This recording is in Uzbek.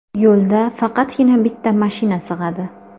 Yo‘lda faqatgina bitta mashina sig‘adi.